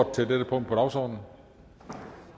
til dette punkt på dagsordenen